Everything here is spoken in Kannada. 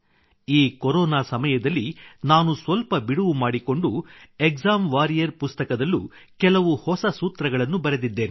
ಈ ಕೊರೊನಾ ಸಮಯದಲ್ಲಿ ನಾನು ಸ್ವಲ್ಪ ಬಿಡುವು ಮಾಡಿಕೊಂಡು ಎಕ್ಸಾಮ್ ವಾರಿಯರ್ ಪುಸ್ತಕದಲ್ಲೂ ಕೆಲವು ಹೊಸ ಸೂತ್ರಗಳನ್ನು ಬರೆದಿದ್ದೇನೆ